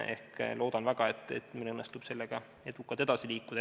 Ma loodan väga, et meil õnnestub sellega edasi liikuda.